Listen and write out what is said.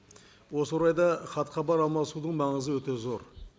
осы орайда хат хабар алмасудың маңызы өте зор